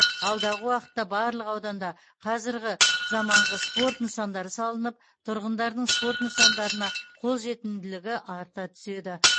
алдағы уақытта барлық ауданда қазіргі замаңғы спорт нысандары салынып тұрғындардың спорт нысандарына қолжетімділігі арта түседі